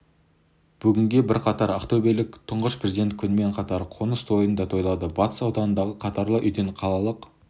бүгін бірқатар ақтөбелік тұңғыш президент күнімен қатар қоныс тойын да тойлады батыс ауданындағы қатарлы үйден қалалық